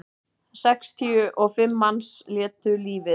Sextíu og fimm manns létu lífið